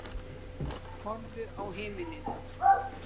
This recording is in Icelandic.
Horfðu á himininn.